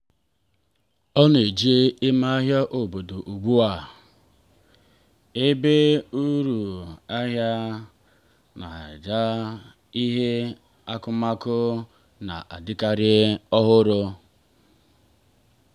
ọ na-eje ahịa ime obodo ugbu a ebe ọnụ ahịa dị ala ya na ebe ihe akụmakụ na-adịkarị ọhụrụ.